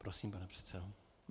Prosím, pane předsedo.